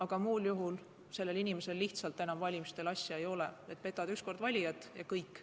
Aga muul juhul sellel inimesel lihtsalt enam valimistele asja ei ole, petad üks kord valijat ja kõik.